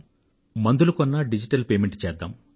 మందులు కొనుగోలు చేసినా డిజిటల్ పేమెంట్ చేద్దాం